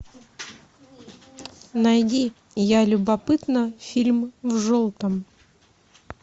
найди я любопытна фильм в желтом